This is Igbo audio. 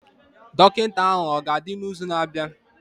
Dọkịta ahụ ọ ga-adị n'izu na-abịa?